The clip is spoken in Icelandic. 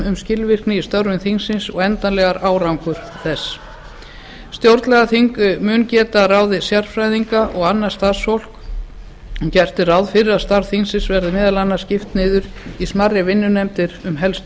um skilvirkni í störfum þingsins og endanlegan árangur þess stjórnlagaþing mun geta ráðið sérfræðinga og annað starfsfólk og gert er ráð fyrir að starfi þingsins verði meðal annars skipt niður á smærri vinnunefndir um helstu